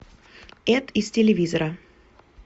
эд из телевизора